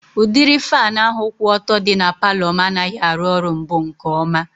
Udịri faanụ ahụ kwụ ọtọ dị na palọ m anaghị arụ ọrụ mbụ nke ọma